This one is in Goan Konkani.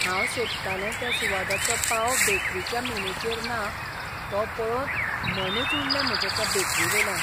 हांव सोदतालें त्या सुवादाचो पाव बेकरीच्या मेनूचेर ना तो पळोवन मनूच उडलें म्हजें ते बेकरीवेल्यान.